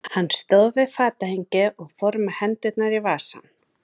Hann stóð við fatahengið og fór með hendurnar í vasann.